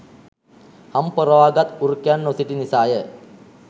හම් පොරවා ගත් වෘකයන් නොසිටි නිසාය.